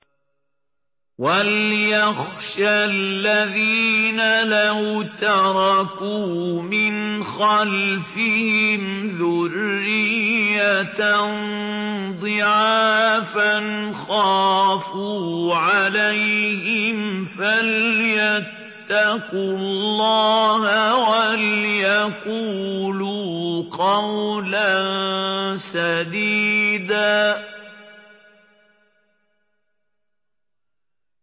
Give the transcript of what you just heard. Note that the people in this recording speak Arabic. وَلْيَخْشَ الَّذِينَ لَوْ تَرَكُوا مِنْ خَلْفِهِمْ ذُرِّيَّةً ضِعَافًا خَافُوا عَلَيْهِمْ فَلْيَتَّقُوا اللَّهَ وَلْيَقُولُوا قَوْلًا سَدِيدًا